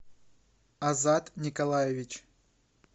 азат николаевич